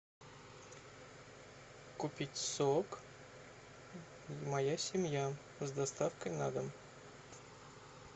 купить сок моя семья с доставкой на дом